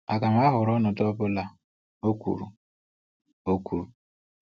Agam ahọrọ ọnọdụ ọ bụla, o kwuru. o kwuru.